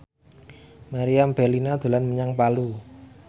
Meriam Bellina dolan menyang Palu